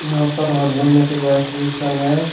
यहां पर हाथ धोने के वेश विशन है।